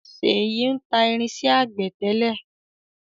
ṣeyi ń ta irinsẹ́ àgbẹ̀ tẹ́lẹ̀